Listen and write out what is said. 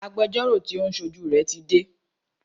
Agbẹjọ́rọ́ tí o ń ṣojú rẹ tí dé.